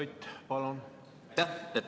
Aitäh!